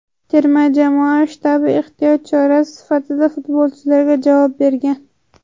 Terma jamoa shtabi ehtiyot chorasi sifatida futbolchilarga javob bergan.